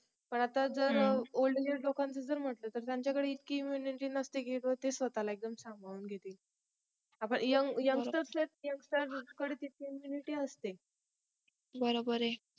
पण आता जर old age लोकांचं जर म्हंटलं तर त्यांच्या कडे इतकी immunity नसते की स्वताला एकदम सांभाळून घेतील जसी आता young YOUNGSTER youngster मध्ये जितकी immunity असते बरोबर आहे